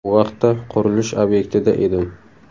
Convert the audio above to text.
Bu vaqtda qurilish obyektida edim.